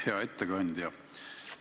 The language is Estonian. Hea ettekandja!